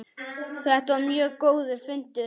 Þetta var mjög góður fundur.